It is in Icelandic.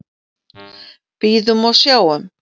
Bíðum og sjáum.